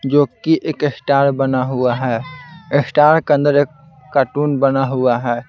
जो कि एक स्टार बना हुआ है स्टार के अंदर एक कार्टून बना हुआ है।